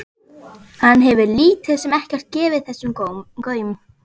Hann hefur lítið sem ekkert gefið þessu gaum.